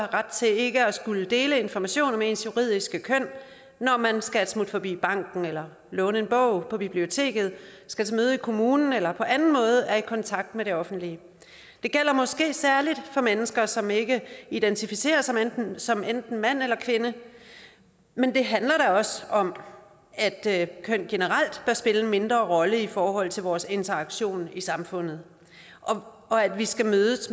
ret til ikke at skulle dele information om ens juridiske køn når man skal et smut forbi banken eller låne en bog på biblioteket skal til møde i kommunen eller på anden måde er i kontakt med det offentlige det gælder måske særlig for mennesker som ikke identificerer sig som enten mand eller kvinde men det handler da også om at køn generelt bør spille en mindre rolle i forhold til vores interaktion i samfundet og at vi skal mødes